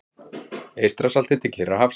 Eystrasalti til Kyrrahafs.